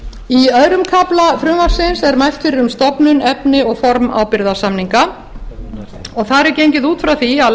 ástæðna í öðrum kafla frumvarpsins er mælt fyrir um stofnun efni og formaður ábyrgðarsamninga og þar er gengið út frá því að